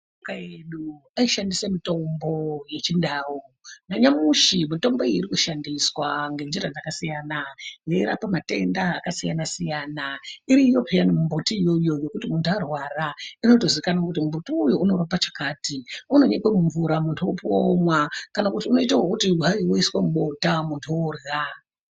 Asharuka edu aishandisa mitombo yechindau nanyamushi mitombo iyi ichirikushandiswa ngenjira dzakasiyana yeirape matenda akasiyana siyana. Iriyo peyani mbiti yona iyoyo yekuti munhu arwara inotozikanwa kuti mbiti uyu unorape chakati. Inonyikwe mumvura munhu opuwa womwa kana kuti hayi inoiswe mubota munhu orya.